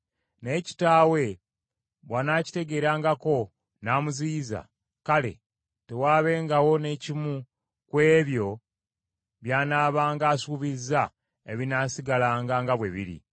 Naye kitaawe bw’anaakiteegerangako, n’amuziyiza, kale, tewaabengawo n’ekimu ku ebyo by’anaabanga asuubizza ebinaasigalanga nga bwe biri.